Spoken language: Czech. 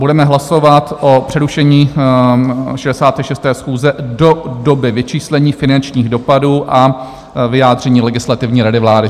Budeme hlasovat o přerušení 66. schůze do doby vyčíslení finančních dopadů a vyjádření Legislativní rady vlády.